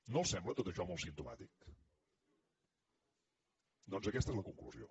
no els sembla tot això molt simptomàtic doncs aquesta és la conclusió